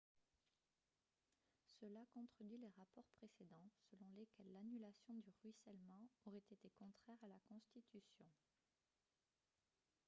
cela contredit les rapports précédents selon lesquels l'annulation du ruissellement aurait été contraire à la constitution